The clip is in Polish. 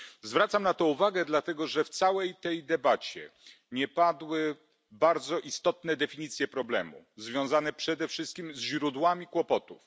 Zwracam na to uwagę dlatego, że w całej debacie nie padły bardzo istotne definicje problemu, związane przede wszystkim ze źródłami kłopotów.